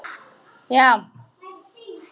Svo æða þau af stað.